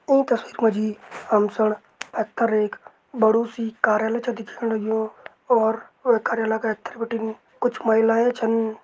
ईं तस्वीर मा जी हम सण पैथर एक बड़ु सी कार्यालय छा दिखेण लग्युं और कार्यालय का ऐथर बिटिन कुछ महिलाएं छन।